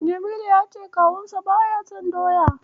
Jamilu ya ce kawunsa baya son Doya.